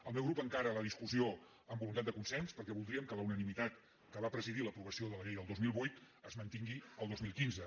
el meu grup encara la discussió amb voluntat de consens per·què voldríem que la unanimitat que va presidir l’apro·vació de la llei del dos mil vuit es mantingui el dos mil quinze